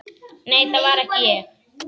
Nei, það var ekki ég